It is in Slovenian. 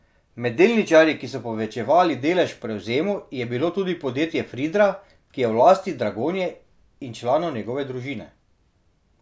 Med delničarji, ki so povečevali delež v prevzemu, je bilo tudi podjetje Fridra, ki je v lasti Dragonje in članov njegove družine.